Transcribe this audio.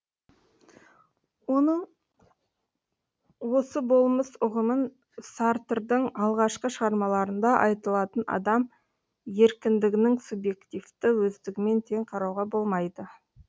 оның осы болмыс ұғымын сартрдың алғашқы шығармаларында айтылатын адам еркіндігінің субъективті өздігімен тең қарауға болмайды